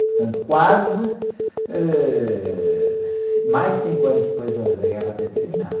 Portanto, quase, ãh, mais de cinco anos depois da, da guerra ter terminado.